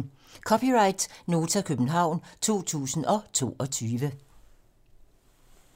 (c) Nota, København 2022